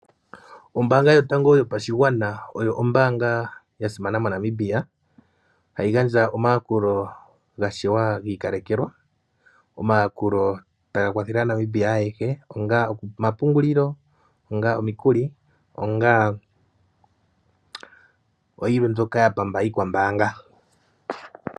Ombaanga yotango moNamibia, oyo ombaanga ya simana, hayi gandja omayakulo omawanawa, omayakulo taga kwathele aaNamibia ayehe. Onga omapungulilo, onga omikuli, onga oyilwe mbyoka ya pamba iikwambaanga.